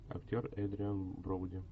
актер эдриан броуди